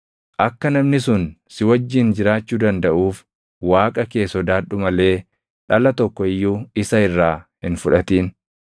Akka namni sun si wajjin jiraachuu dandaʼuuf Waaqa kee sodaadhu malee dhala tokko iyyuu isa irraa hin fudhatin.